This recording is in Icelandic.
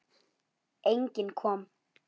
Enginn kom.